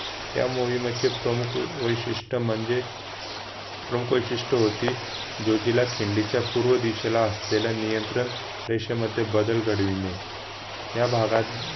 न मोहिमेचे प्रमुख वैशिष्ट्य म्हणजे प्रमुख वैशिष्ट्य होते जोझिला खिंडी च्या पूर्व दिशेला असलेला नियंत्रण रेषा मध्ये बदल घडविणे या भागात